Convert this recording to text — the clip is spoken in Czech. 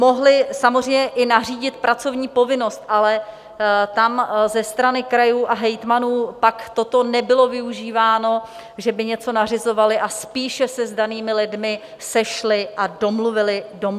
Mohly samozřejmě i nařídit pracovní povinnost, ale tam ze strany krajů a hejtmanů pak toto nebylo využíváno, že by něco nařizovali, a spíše se s danými lidmi sešli a domluvili se na tom.